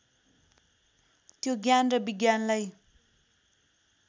त्यो ज्ञान र विज्ञानलाई